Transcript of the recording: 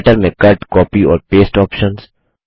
writer में cut copy और paste options